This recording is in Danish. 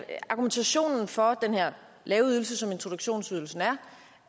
argumentationen for den her lave ydelse som introduktionsydelsen er